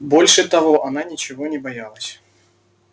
больше того она ничего не боялась